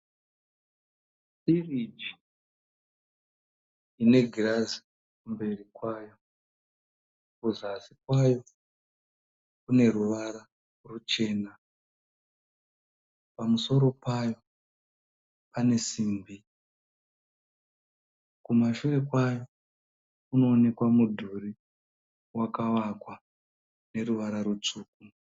firiji ine girazi kumberi kwayo, kuzasi kwayo kune ruvara ruchena, pamuoro payo pane simbi, kumashure kwayo kunoonekwa mudhuri wakavakwa neruvara rutsvuku.